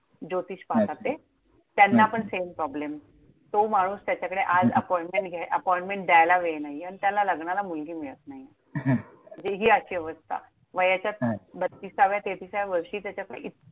ज्योतिष पाहतात अच्छा! ते, त्यांना पण same problem. तो माणूस, त्याच्याकडे आज appointment घ्या appointment द्यायला वेळ नाहीये आणि त्याला लग्नाला मुलगी मिळत नाहीये. म्हणजे हि अशी अवस्था. हां वयाच्या बत्तिसाव्या तेहतिसाव्या वर्षी त्याच्याकडे.